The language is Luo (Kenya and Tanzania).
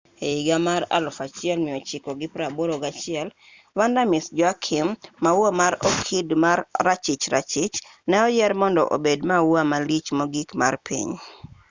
e higa mar 1981 vanda miss joaquim maua mar okid ma rachich rachich ne oyier mondo obed maua malich mogik mar piny